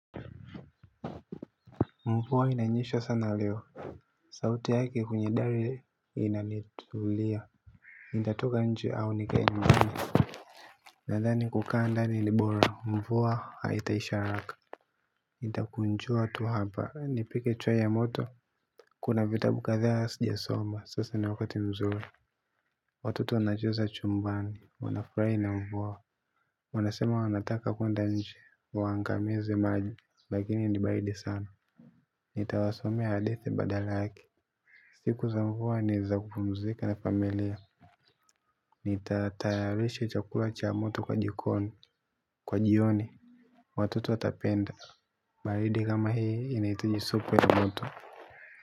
Mvua inanyesha sana leo. Sauti yake kwenye dari inanitulia. Nitatoka nje au nikae nyumbani? Nadhani kukaa ndani ni bora. Mvua haitaisha haraka. Nitakunjua tu hapa. Nipike chai ya moto. Kuna vitabu kadhaa sijasoma. Sasa ni wakati mzuri. Watoto wanacheza chumbani. Wanafurahia na mvua. Wanasema wanataka kuenda nje. Waangamize maji. Lakini ni baridi sana. Nitawasomea hadithi badala yake. Siku za mvua ni za kupumzika na familia. Nitatayarisha chakula cha moto kwa jioni. Watoto watapenda. Baridi kama hii inahitaji supu ya moto.